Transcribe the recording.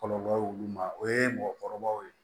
Kɔlɔlɔ y'olu ma o ye mɔgɔkɔrɔbaw ye